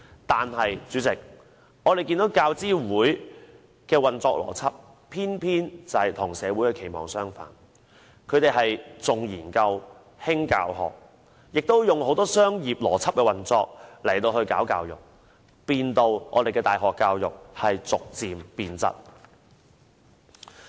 但是，主席，我們看到教資會的運作邏輯，偏偏與社會的期望相反，它重研究，輕教學，亦以很多商業邏輯運作來搞教育，令我們的大學教育逐漸變質。